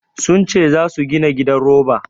Sun ce za su gina gidan roba.